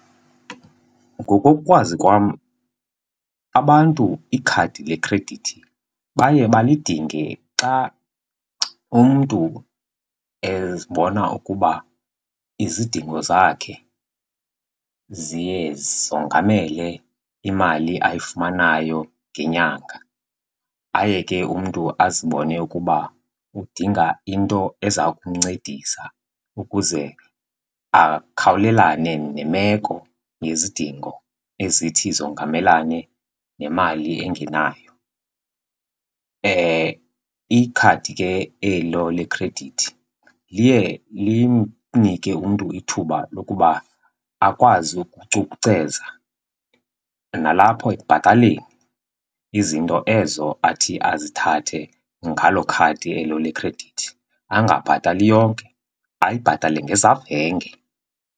Ngokokwazi kwam abantu ikhadi lekhredithi baye balidinge xa umntu ezibona ukuba izidingo zakhe ziye zongamele imali ayifumanayo ngenyanga. Aye ke umntu azibone ukuba udinga into eza kumncedisa ukuze akhawulelane nemeko nezidingo ezithi zongamelane nemali engenayo. Ikhadi ke elo lekhredithi liye limnike umntu ithuba lokuba akwazi ukucukuceza nalapho ekubhataleni izinto ezo athi azithathe ngalo khadi elo lekhredithi angabhatali yonke, ayibhatale ngezavenge.